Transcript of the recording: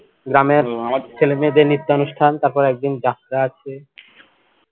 গ্রামের ছেলেমেয়েদের নৃত্যানুষ্ঠান তারপরে একদিন যাত্রা আছে